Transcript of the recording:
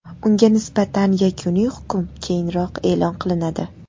Unga nisbatan yakuniy hukm keyinroq e’lon qilinadi.